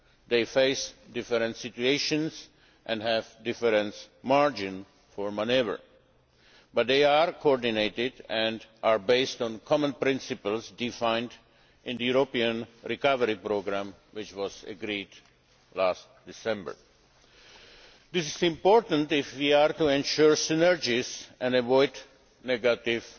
They face different situations and have different margins for manoeuvre, but they are coordinated and are based on common principles defined in the European Recovery Programme, which was agreed last December. This is important if we are to ensure synergies and avoid negative